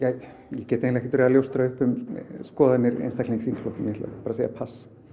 ég get eiginlega ekki verið að ljóstra upp um skoðanir einstaklinga í þingflokknum ég ætla bara að segja pass